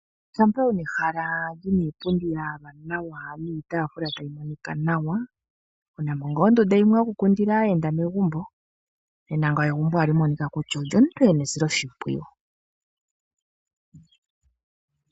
Shampa wuna ehala lina iipundi ya yalwa nawa niitafula tayi monika nawa ,wunamo ngaa ondunda yimwe yo kukundila aayenda megumbo nena egumbo ohali monika kutya olyomuntu ena esiloshimpwiyu.